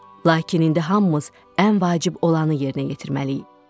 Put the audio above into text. Lakin indi hamımız ən vacib olanı yerinə yetirməliyik.